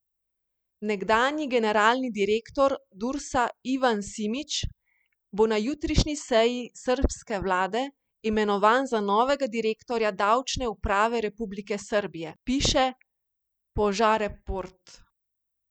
Nekdanji generalni direktor Dursa Ivan Simič bo na jutrišnji seji srbske vlade imenovan za novega direktorja davčne uprave republike Srbije, piše Požareport.